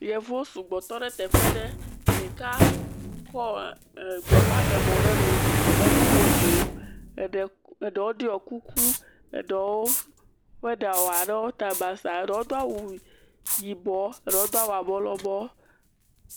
Yevuwo sugbɔ tɔ ɖe teƒe aɖe. Ɖeka kɔ e gbeƒaɖemɔ ɖe nu le nuƒo ƒoo, ɖewo ɖɔ kuku, ɖewo ƒe ɖa wɔ ɖe wo ta basaa, eɖewo do awu yibɔ, ɖewo dɔ awu abɔ lɔbɔ.